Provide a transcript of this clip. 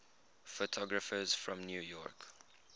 photographers from new york